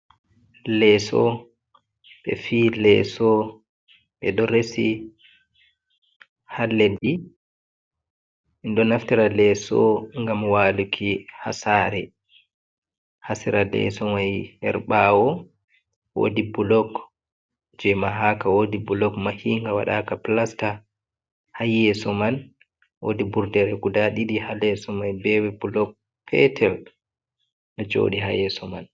Leeso ɓe fi leeso ɓe ɗo resi haa leɗɗi, ɗum ɗo naftira leeso ngam waaluki haa saare, haa sera leeso mai haa ɓaawo woodi bulok je mahaka, woodi bulok mahinga, waɗaaka pilasta haa yeeso man woodi burdere guda ɗiɗi haa leeso mai be bulok petel ɗo jooɗii haa yeeso man.